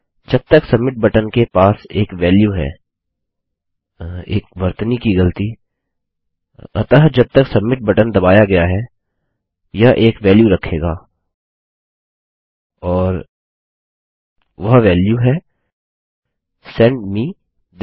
जब तक submit button के पास एक वेल्यू है एक वर्तनी की गलती अतः जब तक सबमिट बटन दबाया गया है यह एक वेल्यू रखेगा और वह वेल्यू है सेंड मे थिस